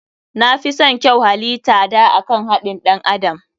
Na fison kyau halita da akan haɗin ɗan adam.